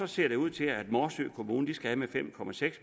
ser ud til at morsø kommune skal af med fem